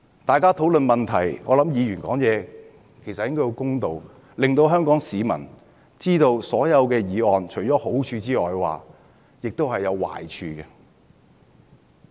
大家討論問題時，議員發言應該要公道，讓香港市民知道所有議案除了好處外也有壞處。